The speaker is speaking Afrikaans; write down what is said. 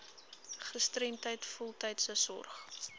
gestremdheid voltydse sorg